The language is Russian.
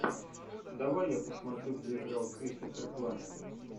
давай я посмотрю где играл кристофер пламмер